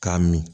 K'a min